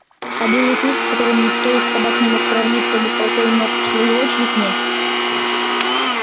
а белый клык с которым никто из собак не мог сравниться быстротой ног в свою очередь не